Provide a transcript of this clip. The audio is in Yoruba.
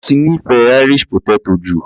Ó ti nífẹ̀ẹ́ Irish potato jù.